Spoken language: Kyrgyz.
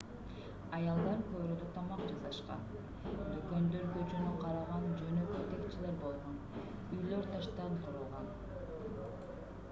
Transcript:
аялдар короодо тамак жасашкан дүкөндөр көчөнү караган жөнөкөй текчелер болгон үйлөр таштан курулган